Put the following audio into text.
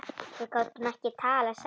Við gátum ekki talað saman.